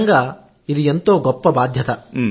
నిజంగా ఇది ఎంతో గొప్ప బాధ్యత